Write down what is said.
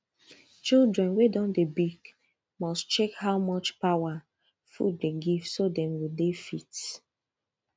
children wen don de big must check how much power food dey give so dem go dey fit